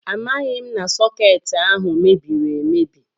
Amaghị m na sọkeetị ahụ mebiri emebi